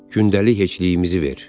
Gündəlik heçliyimizi ver.